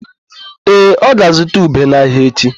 Ee, ọ ga-azụta ube n'ahịa echi.